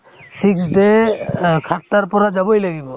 fixed day অ সাতটাৰ পৰা যাবই লাগিব